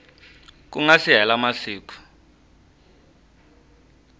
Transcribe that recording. ku nga si hela masiku